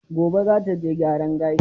Gobe za ta je gyaran gashi.